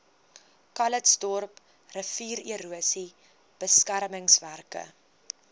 calitzdorp riviererosie beskermingswerke